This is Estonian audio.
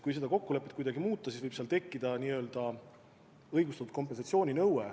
Kui seda kokkulepet kuidagi muuta, siis võib tekkida õigustatud kompensatsiooninõue.